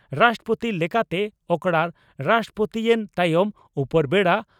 ᱨᱟᱥᱴᱨᱚᱯᱳᱛᱤ ᱞᱮᱠᱟᱛᱮ ᱚᱠᱨᱟᱲ ᱨᱟᱥᱴᱨᱚᱯᱳᱛᱤᱭᱮᱱ ᱛᱟᱭᱚᱢ ᱩᱯᱚᱨᱵᱮᱰᱟ